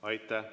Aitäh!